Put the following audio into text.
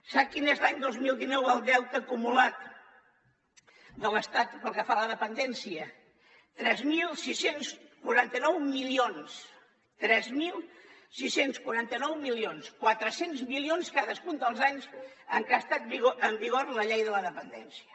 sap quin és l’any dos mil dinou el deute acumulat de l’estat pel que fa a la dependència tres mil sis cents i quaranta nou milions tres mil sis cents i quaranta nou milions quatre cents milions cadascun dels anys en que ha estat en vigor la llei de la depen·dència